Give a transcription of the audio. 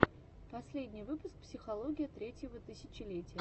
последний выпуск психология третьего тысячелетия